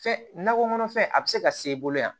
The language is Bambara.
Fɛn nakɔ kɔnɔ fɛn a bɛ se ka s'e bolo yan